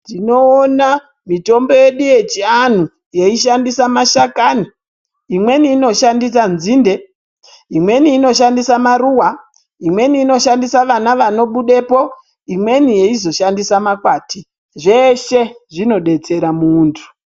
Tinoona mitombo yedu yechiantu yeishandisa mashakani imweni inoshandisa nzinde imweni inoshandisa maruva imweni inoshandisa vana vanobupo imweni yeizoshandisa makwati zveshe zvinodetsera mumuntu.